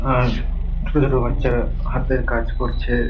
আর ছোট ছোট বাচ্চারা হাতের কাজ করছে।